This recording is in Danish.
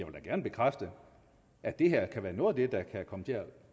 bekræfte at det her kan være noget af det der kan komme til at